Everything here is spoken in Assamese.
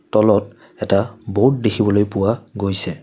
তলত এটা ব'ৰ্ড দেখিবলৈ পোৱা গৈছে।